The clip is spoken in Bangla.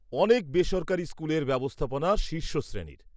-অনেক বেসরকারি স্কুলের ব্যবস্থাপনা শীর্ষ শ্রেণীর।